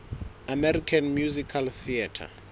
american musical theatre